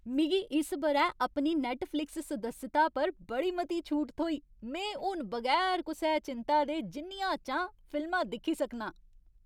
मिगी इस ब'रै अपनी नैट्टफ़्लिक्स सदस्यता पर बड़ी मती छूट थ्होई। में हून बगैर कुसै चिंता दे जिन्नियां चांह् फिल्मां दिक्खी सकनां।